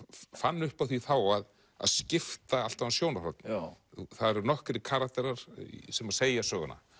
fann upp á því þá að skipta alltaf um sjónarhorn það eru nokkrir karakterar sem segja söguna